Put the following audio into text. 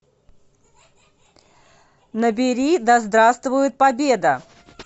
набери да здравствует победа